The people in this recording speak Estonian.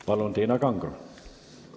Palun, Tiina Kangro!